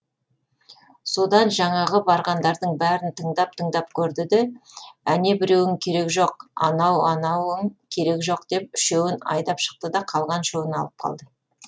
содан жаңағы барғандардың бәрін тыңдап тыңдап көрді де әнебіреуің керек жоқ анау анауың керек жоқ деп үшеуін айдап шықты да қалған үшеуін алып қалды